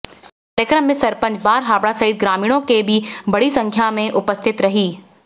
कार्यक्रम में सरपंच बारहाबड़ा सहित ग्रामीणों के भी बड़ी संख्या में उपस्थिति रही